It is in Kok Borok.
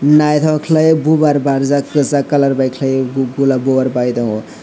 naitok kelai o bofer barjak keshak colour ke bai kelai o golab bofer bai tango.